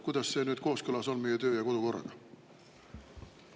Kuidas on see kooskõlas meie töö- ja kodukorraga?